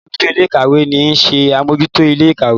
àlabòjuto Ilé-ìkàwé ní ń ṣe Amojuto Ilé-ìkàwé